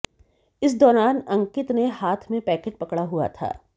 इस दौरान अंकित ने हाथ में पैकेट पकड़ा हुआ था